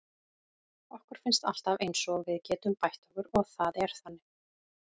Okkur finnst alltaf eins og við getum bætt okkur og það er þannig.